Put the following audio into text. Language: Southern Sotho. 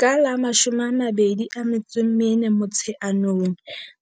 Ka la 24 Motsheanong